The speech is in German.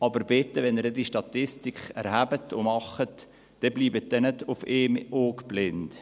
Aber bitte, wenn Sie diese Statistik erheben und machen, dann bleiben Sie nicht auf einem Auge blind.